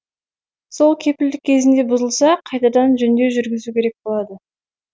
сол кепілдік кезінде бұзылса қайтадан жөндеу жүргізу керек болады